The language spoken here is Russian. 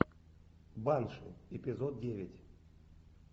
банши эпизод девять